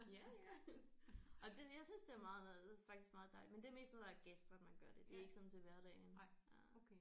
Ja ja. Og det jeg synes det er meget faktisk meget dejligt men det er mest når der er gæster man gør det det er ikke sådan til hverdagen øh